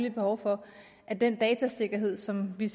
et behov for at den datasikkerhed som vi